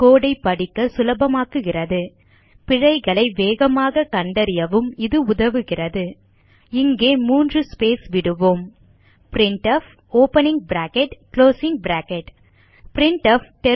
கோடு ஐ படிக்க சுலபமாக்குகிறது பிழைகளை வேகமாக கண்டறியவும் இது உதவுகிறது இங்கே மூன்று ஸ்பேஸ் விடுவோம் எழுதுக printf opening bracket closing bracket printf